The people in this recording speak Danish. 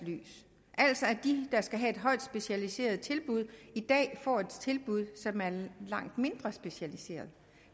lys altså at de der skal et højt specialiseret tilbud i dag får et tilbud som er langt mindre specialiseret